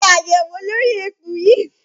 Ṣe àyẹ̀wò lórí eku yìí!